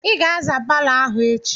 I ga-aza palọ ahụ echi!